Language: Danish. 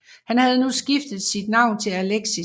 Han havde nu skiftet sit navn til Alexis